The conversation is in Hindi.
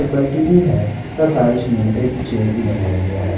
बल्टी भी है तथा इसमें एक चेयर भी लगाया गया है।